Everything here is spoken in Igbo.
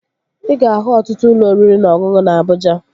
Ị ga-ahụ ọtụtụ ụlọ oriri na ọṅụṅụ na Abụja